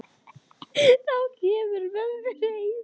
Þá kemurðu með mér heim.